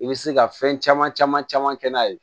I bɛ se ka fɛn caman caman caman kɛ n'a ye